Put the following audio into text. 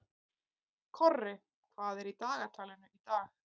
Korri, hvað er í dagatalinu í dag?